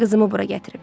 Qızımı bura gətirib.